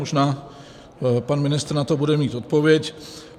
Možná pan ministr na to bude mít odpověď.